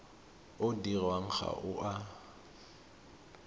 o dirwang ga o a